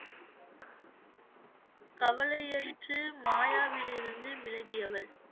கவலை யெழுச்சு மாயாவிலிருந்து விலகியவள்